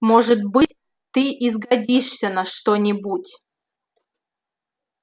может быть ты и сгодишься на что-нибудь